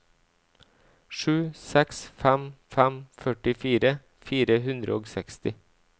sju seks fem fem førtifire fire hundre og seksti